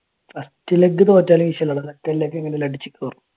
first leg തോറ്റവർ വിഷയമില്ല second leg എങ്ങനെയെങ്കിലും അടിച്ചിട്ടോളും